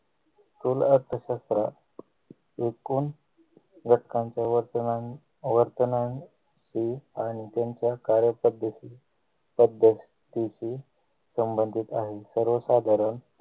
कृल अर्थशास्त्र विकून वटकांचे वर्तमान वर्तनान ई आणि त्यांच्या कार्यपद्धती पद्धतीती संबंधित आहे सर्वसाधारण